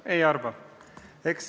Ma ei arva seda.